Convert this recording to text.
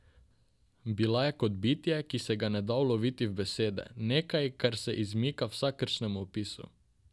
Bila je kot bitje, ki se ga ne da uloviti v besede, nekaj, kar se izmika vsakršnemu opisu.